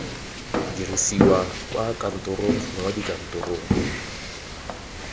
dirisiwa kwa kantorong gongwe dikantorong